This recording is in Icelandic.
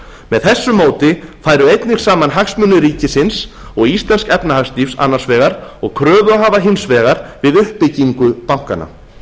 með þessu móti færu einnig saman hagsmunir ríkisins og íslensks efnahagslífs annars vegar og kröfuhafa hins vegar við uppbyggingu bankanna